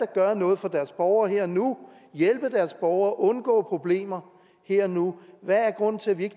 gøre noget for deres borgere her og nu hjælpe deres borgere undgå problemer her og nu hvad er grunden til at vi ikke